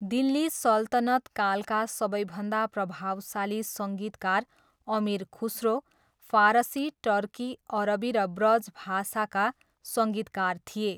दिल्ली सल्तनत कालका सबैभन्दा प्रभावशाली सङ्गीतकार अमीर खुसरो, फारसी, टर्की, अरबी र ब्रज भाषाका सङ्गीतकार थिए।